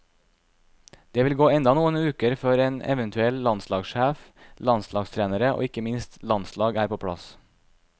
Det vil gå enda noen uker før en eventuell landslagssjef, landslagstrenere og ikke minst landslag er på plass.